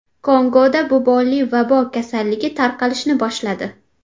Kongoda bubonli vabo kasalligi tarqalishni boshladi.